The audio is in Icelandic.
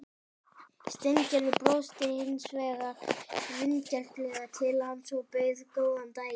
Steingerður brosti hins vegar vingjarnlega til hans og bauð góðan daginn.